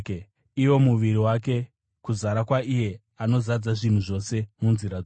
iwo muviri wake, kuzara kwaiye anozadza zvinhu zvose munzira dzose.